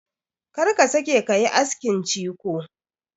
Kar ka sake ka yi askin ciko!